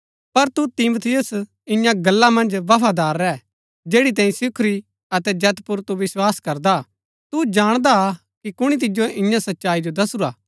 पर तू तिमुथियुस इन्या गल्ला मन्ज बफादार रैह जैड़ी तैंई सिखुरी अतै जैत पुर तू विस्वास करदा हा तू जाणदा हा कि कुणी तिजो इन्या सच्चाई जो दसुरा हा